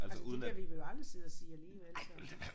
Altså det ville vi vel aldrig sidde og sige alligevel så